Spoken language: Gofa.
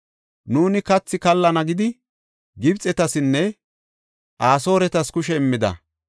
Nuuni kathi kallana gidi, Gibxetasinne Asooretas kushe immida.